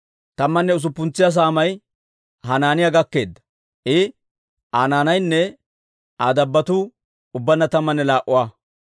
Tammanne usuppuntsa saamay Hanaaniyaa gakkeedda; I, Aa naanaynne Aa dabbotuu ubbaanna tammanne laa"a.